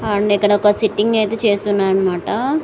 And ఇక్కడ ఒక sitting అయితే చేస్తున్నారన్నమాట.